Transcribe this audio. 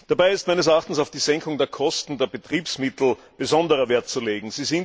Dabei ist meines Erachtens auf die Senkung der Kosten der Betriebsmittel besonderer Wert zu legen.